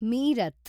Meerut